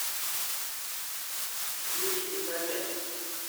юрий яковец